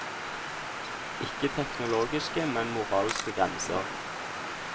Ikke teknologiske, men moralske grenser.